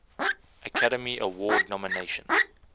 academy award nomination